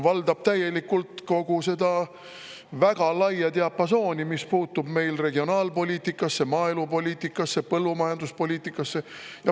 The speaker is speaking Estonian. Valdab täielikult kogu seda väga laia diapasooni, mis puutub regionaalpoliitikasse, maaelupoliitikasse, põllumajanduspoliitikasse.